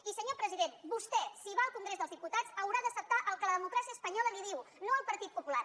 i senyor president vostè si va al congrés dels diputats haurà d’acceptar el que la democràcia espanyola li diu no el partit popular